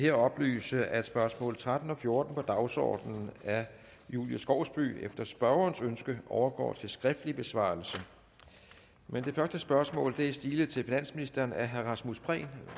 her oplyse at spørgsmål tretten og fjorten på dagsordenen af julie skovsby efter spørgerens ønske overgår til skriftlig besvarelse men det første spørgsmål er stilet til finansministeren af herre rasmus prehn